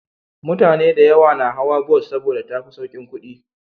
Mutane da yawa na hawa bus saboda tafi saukin kudi